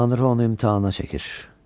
Tanrı onu imtahana çəkir.